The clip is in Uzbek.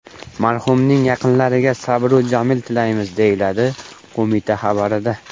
Marhumning yaqinlariga sabr-u jamil tilaymiz”, deyiladi qo‘mita xabarida.